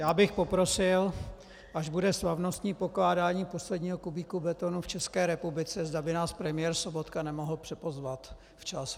Já bych poprosil, až bude slavnostní pokládání posledního kubíku betonu v České republice, zda by nás premiér Sobotka nemohl připozvat včas.